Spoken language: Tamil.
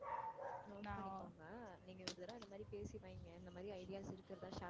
note பண்ணிக்கோங்க நீங்க ஒரு தடவை இந்த மாதிரி பேசி வைங்க இந்த மாதிரி ideas இருக்கிறதா share